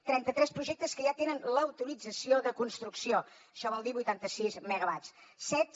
trenta tres projectes que ja tenen l’autorització de construcció això vol dir vuitanta sis megawatts